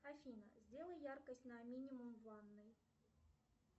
афина сделай яркость на минимум в ванной